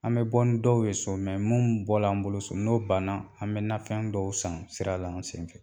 An bɛ bɔ ni dɔw ye so minnu bɔra an bolo so n'o banna an bɛ nafɛn dɔw san sira la an senfɛ